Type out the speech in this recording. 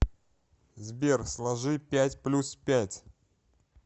сбер сложи пять плюс пять